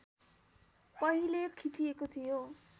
पहिले खिचिएको थियो